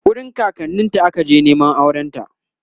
wurin kakanninta aka je Neman aurenta